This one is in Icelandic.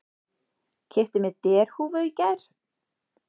Keypti mér derhúfu í gær.